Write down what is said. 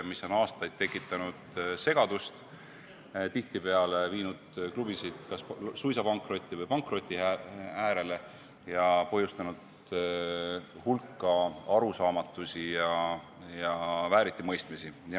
See on aastaid tekitanud segadust, tihtipeale viinud klubisid suisa pankrotti või pankroti äärele ning põhjustanud hulka arusaamatusi ja vääritimõistmisi.